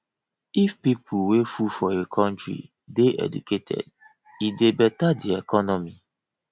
if pipo wey full for a country de educated e de better di economy